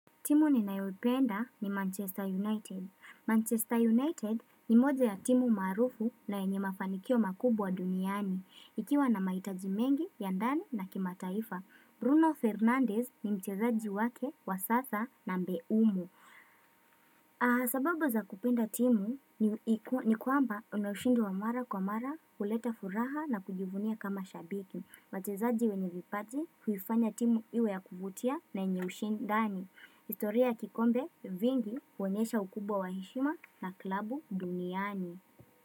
Timu ninayoipenda ni Manchester United. Manchester United ni moja ya timu maarufu na yenyemafanikio makubwa duniani. Ikiwa na mahitaji mengi, yandani na kimataifa. Bruno Fernandez ni mchezaji wake, wa sasa na mbeumu. Sababu za kupenda timu ni kwamba inauishindi wa mara kwa mara kuleta furaha na kujivunia kama shabiki. Wachezaji wenye vipazi huifanya timu iwe ya kuvutia nayenyeushindani. Historia kikombe vingi huonesha ukubwa wa heshima na klabu duniani.